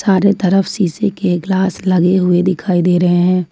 चारों तरफ शीशे के ग्लास लगे हुए दिखाई दे रहे हैं।